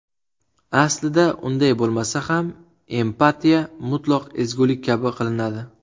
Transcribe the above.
Aslida unday bo‘lmasa ham, empatiya mutlaq ezgulik kabi qilinadi.